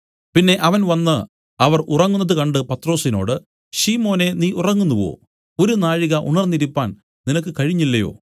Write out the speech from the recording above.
പിന്നെ അവൻ വന്നു അവർ ഉറങ്ങുന്നത് കണ്ട് പത്രൊസിനോട് ശിമോനേ നീ ഉറങ്ങുന്നുവോ ഒരു നാഴിക ഉണർന്നിരിപ്പാൻ നിനക്ക് കഴിഞ്ഞില്ലയോ